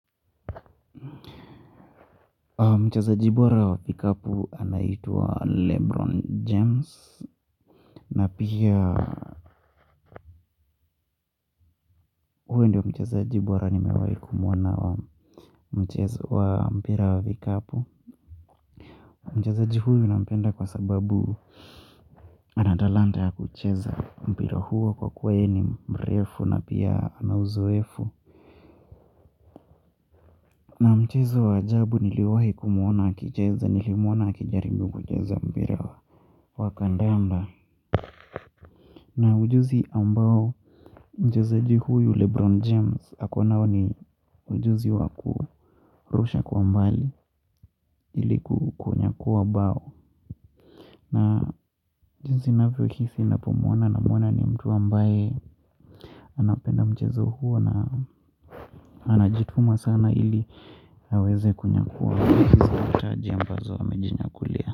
Mchezaji bora wa kikapu anaitwa Lebron James na pia huyo ndiyo mchezaji bora nimewahi kumuona wa mchezo wa mpira wa vikapu. Mchezaji huyo nampenda kwa sababu ana talanta ya kucheza mpira huo kwa kuwa yeye ni mrefu na pia ana uzoefu. Mchezo wa ajabu niliwahi kumuona akicheza nilimuona akijaribu kucheza mpira wa kandanda. Na ujuzi ambao mchezaji huyu Lebron James ako nao ni ujuzi wa kurusha kwa mbali ili kunyakuwa bao, na jinsi ninavyohisi ninapomuona namuona ni mtu ambaye anapenda mchezo huo na anajituma sana ili aweze kunyakuwa hizi taji ambazo amejinyakulia.